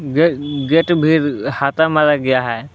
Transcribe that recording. Gate भी हाता मारा गया है।